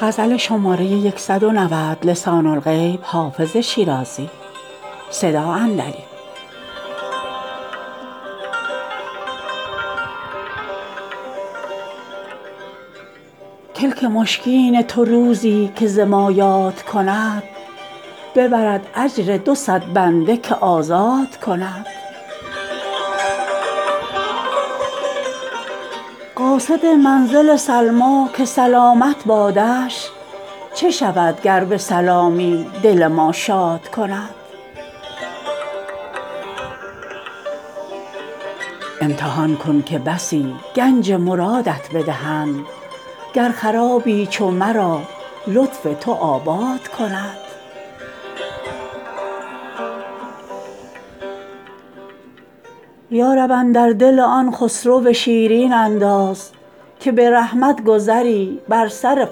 کلک مشکین تو روزی که ز ما یاد کند ببرد اجر دو صد بنده که آزاد کند قاصد منزل سلمیٰ که سلامت بادش چه شود گر به سلامی دل ما شاد کند امتحان کن که بسی گنج مرادت بدهند گر خرابی چو مرا لطف تو آباد کند یا رب اندر دل آن خسرو شیرین انداز که به رحمت گذری بر سر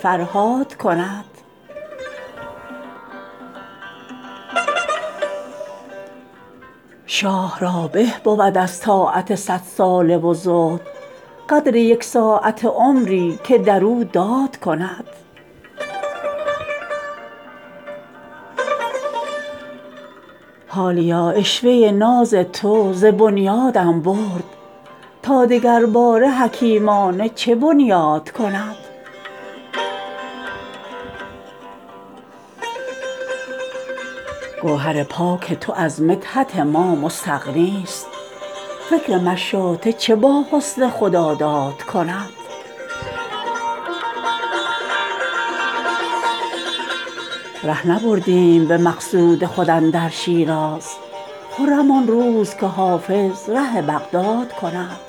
فرهاد کند شاه را به بود از طاعت صدساله و زهد قدر یک ساعته عمری که در او داد کند حالیا عشوه ناز تو ز بنیادم برد تا دگرباره حکیمانه چه بنیاد کند گوهر پاک تو از مدحت ما مستغنیست فکر مشاطه چه با حسن خداداد کند ره نبردیم به مقصود خود اندر شیراز خرم آن روز که حافظ ره بغداد کند